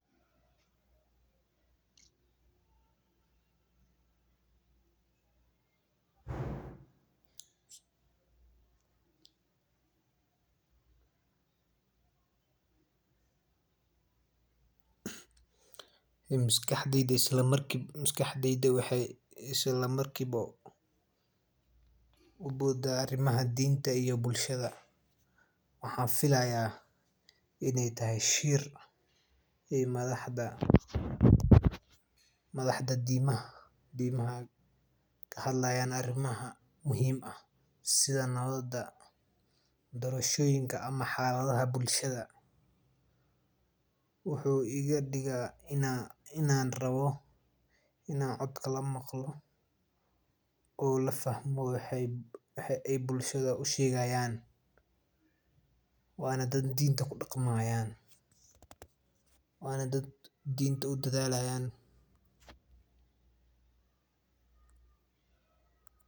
Maskaxdeyda waxee isla marki wa uboda arimaha dinta waxan filaya in ee tahay shir ee madaxda dimaha kahadlayan sitha nawada ama xaladoyin wuxuu iga diga in luqada rawo wana dad dinta kudaqmayan wana dad dibta kudadhalayan sas waye sitha an mesha ku arki hayo waa askari madow dugsi digaga waxee diwata weyn ku kenan cafimaadka iyo wax sosarka digaga cayayankan waxaa ka miid ah cuntaada u cansan una qima badan ee laga helo hilib iyo cano tayo sare leh.